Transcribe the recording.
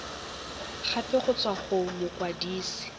gape go tswa go mokwadise